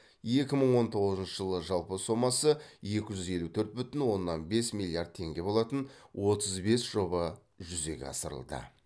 екі мың он тоғызыншы жылы жалпы сомасы екі жүз елу төрт бүтін оннан бес миллиард теңге болатын отыз бес жоба жүзеге асырылды